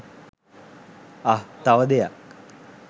අහ් තව දෙයක්